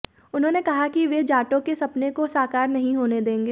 उन्होंने कहा कि वे जाटों के सपने को साकार नहीं होने देंगे